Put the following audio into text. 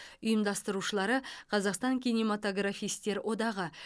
ұйымдастырушылары қазақстан кинематографистер одағы